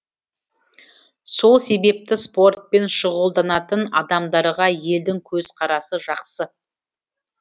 сол себепті спортпен шұғылданатын адамдарға елдің көзқарасы жақсы